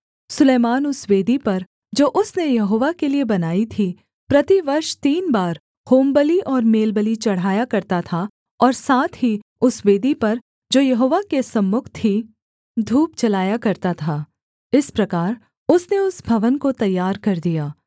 सुलैमान उस वेदी पर जो उसने यहोवा के लिये बनाई थी प्रतिवर्ष तीन बार होमबलि और मेलबलि चढ़ाया करता था और साथ ही उस वेदी पर जो यहोवा के सम्मुख थी धूप जलाया करता था इस प्रकार उसने उस भवन को तैयार कर दिया